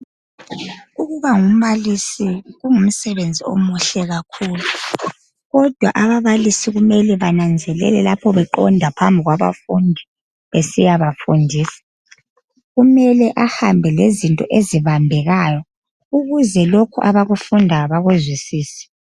Ukuba ngumbalisi kungumsebenzi omuhle kakhulu kodwa ababalisi kumele bananzelele lapho beqonda phambi kwabafundi besiyabafundisa kumele bahambe lezinto ezibambekayo ukuze lokhu abakufundayo bakuzwisise.